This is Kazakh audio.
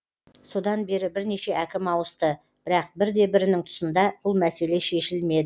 содан бері бірнеше әкім ауысты бірақ бір де бірінің тұсында бұл мәселе шешілмеді